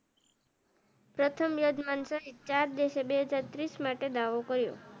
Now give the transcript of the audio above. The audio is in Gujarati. પ્રથમ યોજમાંન સહીત ચાર દેશો બે હાજર ત્રીસ માટે દાવો કર્યો